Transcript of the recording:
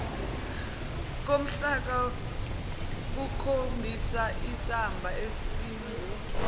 komhlaka kukhombisaisamba esingu